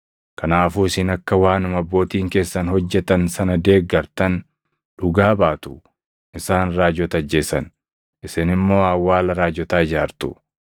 Kanaafuu isin akka waanuma abbootiin keessan hojjetan sana deeggartan dhugaa baatu; isaan raajota ajjeesan; isin immoo awwaala raajotaa ijaartu.